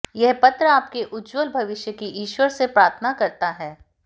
यह पत्र आपके उज्ज्वल भविष्य की ईश्वर से प्रार्थना करता है